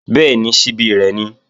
Bẹ́ẹ̀ni, ṣíbí rẹ̀ ni